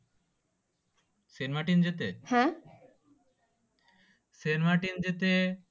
Saint Martin যেতে হ্যাঁ saint Martin যেতে